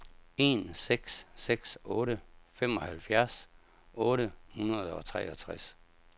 en seks seks otte femoghalvfjerds otte hundrede og treogtres